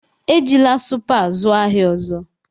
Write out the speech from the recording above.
Ejila Supa zụọ ahịa ọzọ!